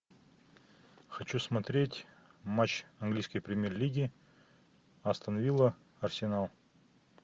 хочу смотреть матч английской премьер лиги астон вилла арсенал